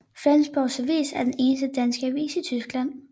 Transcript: Flensborg Avis er den eneste danske avis i Tyskland